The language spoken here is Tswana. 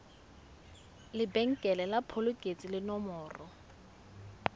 lebenkele la phokoletso le nomoro